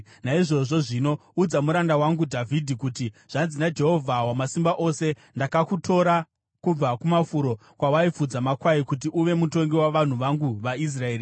“Naizvozvo zvino, udza muranda wangu Dhavhidhi kuti, ‘Zvanzi naJehovha Wamasimba Ose: Ndakakutora kubva kumafuro kwawaifudza makwai kuti uve mutongi wavanhu vangu vaIsraeri.